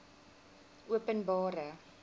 openbare